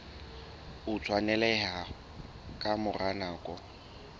o tshwaneleha ka mora nako